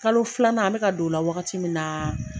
Kalo filanan an bɛ ka don o la wagati min na